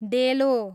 डेलो